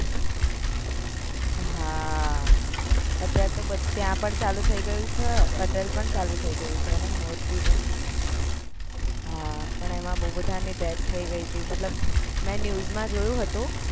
હા અત્યારે તો બધા ત્યાં પણ ચાલુ થય ગયું છે અટલ પણ ચાલુ થય ગયું છે અને મોરબી પણ હા પણ એમાં બૌ બધા ની death થય ગય હતી મતલબ મેં news માં જોયું હતું